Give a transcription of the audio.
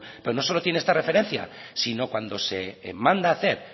pero no solo tiene esta referencia sino cuando se manda hacer